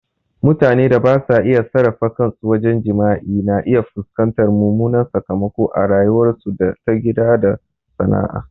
Mutanen da basa iya sarrafa kansu wajen jima'i na iya fuskantar mummunan sakamako a rayuwarsu ta gida ko sana'a.